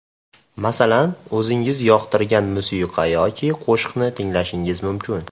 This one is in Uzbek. Masalan, o‘zingiz yoqtirgan musiqa yoki qo‘shiqni tinglashingiz mumkin.